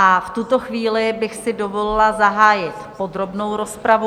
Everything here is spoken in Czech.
A v tuto chvíli bych si dovolila zahájit podrobnou rozpravu.